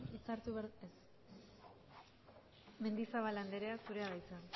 maneiro jauna hitza hartu behar du ez mendizabal anderea zurea da hitza